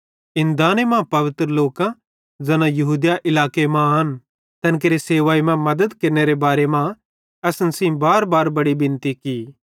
ते इस दाने मां ते पवित्र लोकां ज़ैना यहूदिया इलाके मां आन तैन केरे सेवाई मां मद्दत केरनेरे बारे मां असन सेइं बारबार बड़ी बिनती की